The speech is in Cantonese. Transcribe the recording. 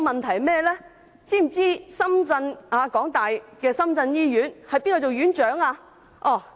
再者，大家知否香港大學的深圳醫院是由誰擔任院長？